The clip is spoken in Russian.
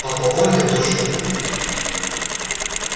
подполковником точно буду